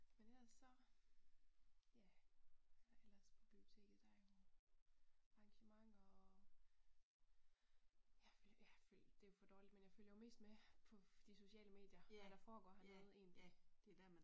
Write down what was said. Men ellers så ja hvad der ellers på biblioteket der er jo arrangementer og ja jeg ja det jo det for dårligt men jeg følger jo egentlig mest med i de sociale medier hvad der foregår hernede